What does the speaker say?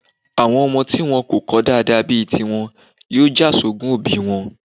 Àwọn ọmọ tí wón kò kọ́ dáadáa bí i tiwọn yóò jà sógún òbí wọn.